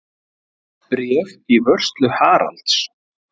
Bréf í vörslu Haralds.